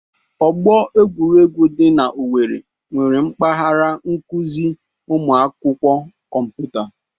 Ọgbọ egwuregwu dị na-Owerri nwere mpaghara n'akụziri ụmụ akwụkwọ kọmputa.